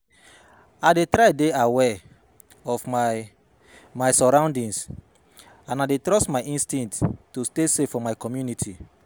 I dey try dey aware of my my surroundings and i dey trust my instincts to stay safe for my community.